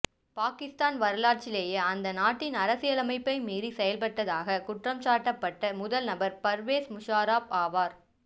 பாகிஸ்தான் வரலாற்றிலேயே அந்நாட்டின் அரசியலமைப்பை மீறி செயல்பட்டதாக குற்றம்சாட்டப்பட்ட முதல் நபர் பர்வேஸ் முஷாரஃப் ஆவார்